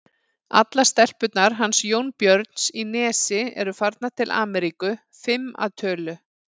Allar stelpurnar hans Jónbjörns í Nesi eru farnar til Ameríku, fimm að tölu.